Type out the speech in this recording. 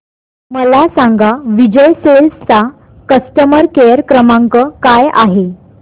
मला सांगा विजय सेल्स चा कस्टमर केअर क्रमांक काय आहे